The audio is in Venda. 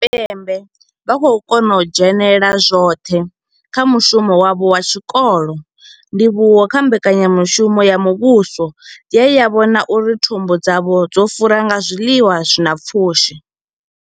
Tshipembe vha khou kona u dzhenela tshoṱhe kha mushumo wavho wa tshikolo, ndivhuwo kha mbekanyamushumo ya muvhuso ye ya vhona uri thumbu dzavho dzo fura nga zwiḽiwa zwi na pfushi.